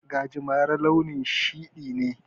Gajimare launin shiɗi ne.